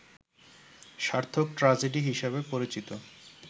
সার্থক ট্রাজেডি হিসেবে পরিচিত